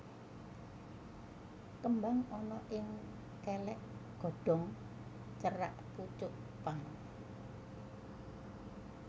Kembang ana ing kèlèk godhong cerak pucuk pang